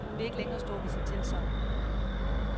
Hun vil ikke længere stå ved sit tilsagn.